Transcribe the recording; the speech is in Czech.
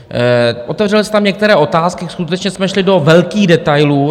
Otevřely se tam některé otázky, skutečně jsme šli do velkých detailů.